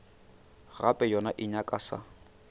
gape yona e nyaka sa